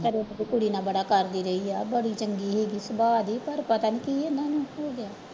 ਕੁੜੀ ਨਾਲ ਬੜਾ ਕਰਦੀ ਰਹੀ ਆ ਬੜੀ ਚੰਗੀ ਸੀਗੀ ਸੁਭਾਅ ਦੀ ਪਰ ਪਤਾ ਨੀ ਕੀ ਇਹਨਾਂ ਨੂੰ ਹੋ ਗਿਆ।